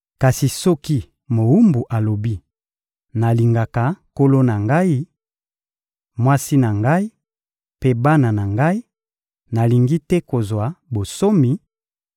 Kasi soki mowumbu alobi: ‹Nalingaka nkolo na ngai, mwasi na ngai mpe bana na ngai, nalingi te kozwa bonsomi,›